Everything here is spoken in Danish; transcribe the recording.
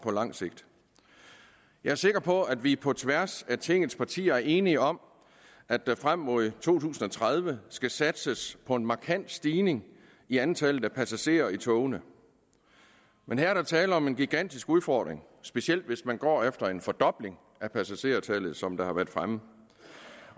på lang sigt jeg er sikker på at vi på tværs af tingets partier er enige om at der frem mod to tusind og tredive skal satses på en markant stigning i antallet af passagerer i togene men her er der tale om en gigantisk udfordring specielt hvis man går efter en fordobling af passagertallet